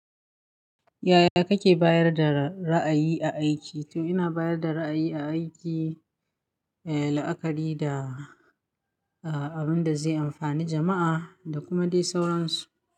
Yaya kake bayar da ra'ayi a aiki? To ina bayar da ra'ayi a aiki, eh, la'akari da, ah, abin da zai amfani jama'a da kuma dai sauransu.